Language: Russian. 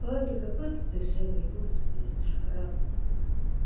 а ты какой ты душевный господи аж душа радуется